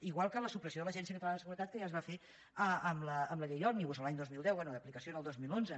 igual que la supressió de l’agència catalana de seguretat que ja es va fer amb la llei òmnibus l’any dos mil deu bé d’aplicació al dos mil onze